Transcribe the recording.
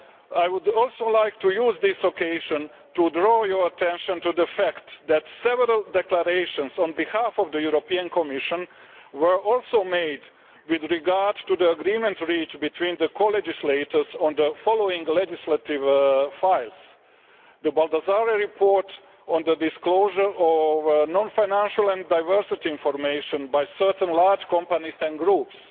I would also like to use this occasion to draw your attention to the fact that several declarations on behalf of the Commission were also made with regard to the agreements reached between the co legislators on the following legislative files the Baldassarre report on the disclosure of non financial and diversity information by certain large companies and groups